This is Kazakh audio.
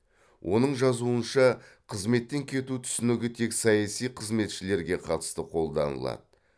оның жазуынша қызметтен кету түсінігі тек саяси қызметшілерге қатысты қолданылады